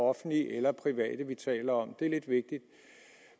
offentlige eller private virksomheder vi taler om det